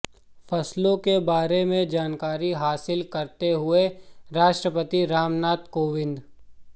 फसलों के बारे में जानकारी हासिल करते हुए राष्ट्रपति रामनाथ कोविंद